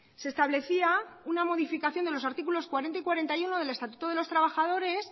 se establecía una modificación de los artículos cuarenta y cuarenta y uno del estatuto de los trabajadores